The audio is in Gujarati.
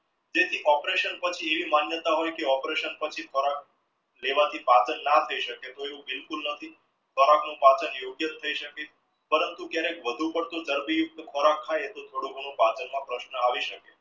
તે થી operation પર થી એવી માન્યતા operation પર થી ખોરાક લેવાથી પાચન ના થઈ શકે તો એવો બિલકુલ નથી પાચન યોગ્ય થઇ શકે પરંતુ જેને વધુ પડતું ર્દી ખોરાક ખાય તો થોડું ઘણું પાચન માં પ્રશ્ન આવી શકે